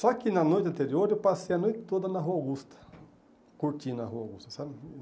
Só que, na noite anterior, eu passei a noite toda na Rua Augusta, curtindo a Rua Augusta sabe.